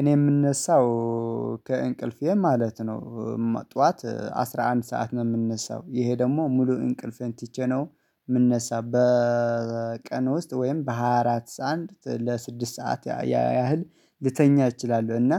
እኔ የምነሳው ከእንቅልፌ ማለት ነው። ጠዋት አስራ አንድ ሰዓት ነው የምነሳው ደግሞ ሙሉ እንቅልፌን ትቼ ነው የምነሳው በቀን ውስጥ ወይም በሃያ አራት አንድ ለስድስት ሰዓት ያህል ልተኛ እችላለሁ። እና